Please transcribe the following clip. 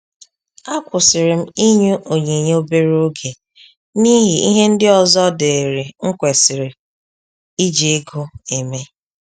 A kwusiri m inyu onyinye obere oge n'ihi ihe ndị ọzọ diri m kwesịrị iji ego eme